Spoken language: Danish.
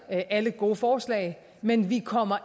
alle gode forslag men vi kommer